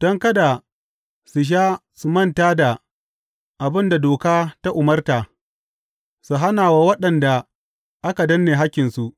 don kada su sha su manta da abin da doka ta umarta, su hana wa waɗanda aka danne hakkinsu.